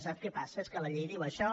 sap què passa que la llei diu això